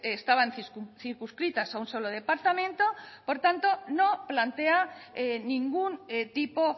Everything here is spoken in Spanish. estaban circunscritas a un solo departamento por tanto no plantea ningún tipo